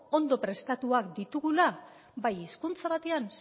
ondo prestatuak ditugula bai hizkuntza batean